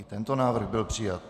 I tento návrh byl přijat.